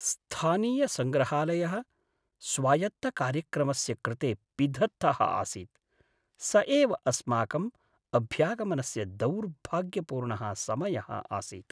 स्थानीयसङ्ग्रहालयः स्वायत्तकार्यक्रमस्य कृते पिधत्तः आसीत्, स एव अस्माकम् अभ्यागमनस्य दौर्भाग्यपूर्णः समयः आसीत्।